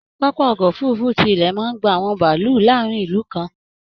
Pápá ọkọ òfurùnfu tí ilẹ máa n gbà àwọn bàálù láàrin ìlú kan.